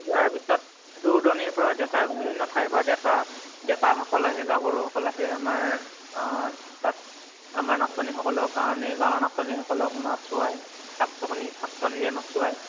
তাৰ পিছত দুৰ দুৰনিৰ পৰা ডেকা বিভিন্ন থাইৰ পৰা ডেকা ডেকা সকল আহে, গাভৰু সকল আহে আমাৰ অহ তাত। আমাৰ নাচনি সকলৰ কাৰণে। গাওঁৰ নাচনি সকলক নাচুৱায় ৰে নাচুৱায়